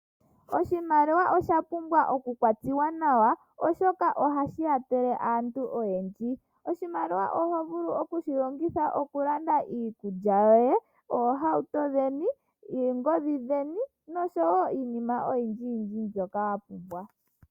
Oshimaliwa osha pumbwa okukwatiwa nawa oshoka ohashi kwathele aantu oyendji. Oshimaliwa oho vulu okushi longitha okulanda iikulya yoye, oohauto dheni, oongodhi dheni noshowo iinima oyindji yindji mbyoka wa pumbwa.